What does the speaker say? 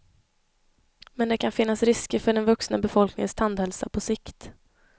Men det kan finnas risker för den vuxna befolkningens tandhälsa på sikt.